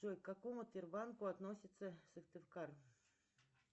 джой к какому тербанку относится сыктывкар